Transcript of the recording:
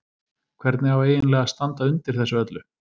Hvernig á eiginlega að standa undir þessu öllu?